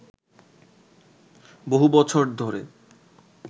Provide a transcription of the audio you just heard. বহু বছর ধরে